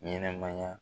Ɲɛnɛmaya